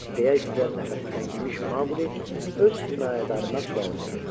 deyə istidən nəfəsi təngimiş Maquli öz himayədarına sual verdi.